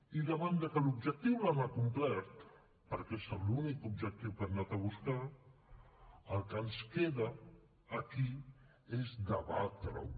i davant que l’objectiu l’han acomplert perquè és l’únic objectiu que han anat a buscar el que ens queda aquí és debatre ho